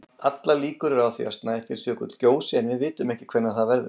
Allar líkur eru á því að Snæfellsjökull gjósi en við vitum ekki hvenær það verður.